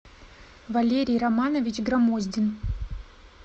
валерий романович громоздин